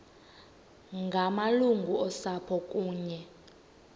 ngamalungu osapho kunye